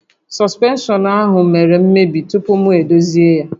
Sọspenshọn ahụ mèrè mmebi tupu m edozi ya